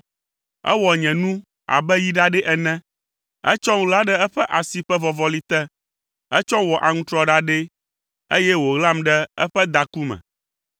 Ewɔ nye nu abe yi ɖaɖɛ ene. Etsɔm ɣla ɖe eƒe asi ƒe vɔvɔli te. Etsɔm wɔ aŋutrɔ ɖaɖɛ, eye wòɣlam ɖe eƒe daku me.